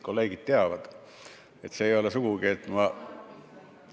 Kolleegid teavad, et see ei ole sugugi nii, et ma ...